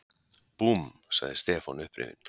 Búmm! sagði Stefán upprifinn.